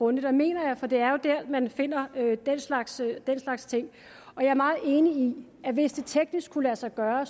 og det mener jeg for det er jo dér man finder den slags slags ting jeg er meget enig i at hvis det teknisk kunne lade sig gøre